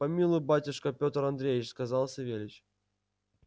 помилуй батюшка петр андреич сказал савельич